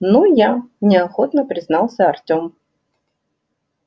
ну я неохотно признался артём